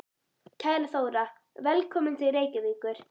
Kæra Þóra. Velkomin til Reykjavíkur.